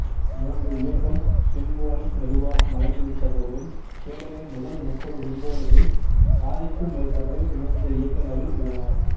மூன்று இயக்கம் சிம்பொனி மெதுவாக மறைந்துவிட்ட போதிலும் ஹேடனின் முதல் முப்பது சிம்பொனிகளில் பாதிக்கும் மேற்பட்டவை மூன்று இயக்கங்களில் உள்ளன